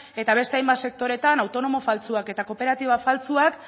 eta beste hainbat sektoreetan autonomo faltsuak eta kooperatibak faltsuak